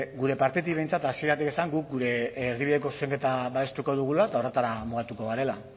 gure partetik behintzat hasieratik esan guk gure erdibideko zuzenketa babestuko dugula eta horretara mugatuko garela